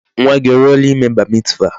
Nwa gi o ruola ime Bar mitzvah?